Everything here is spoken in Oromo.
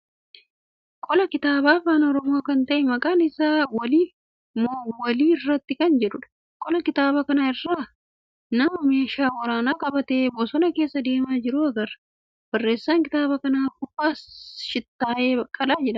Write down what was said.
Qola kitaaba afaan Oromoo kan ta'e maqaan isaa Waliif moo Wali irratti kan jedhuudha. Qola kitaaba kanaa irra nama meeshaa waraanaa qabatee bosona keessa deemaa jiru agarra. Barreessaan kitaaba kanaa Fufaa Shittaayee baqqalaa jedhama.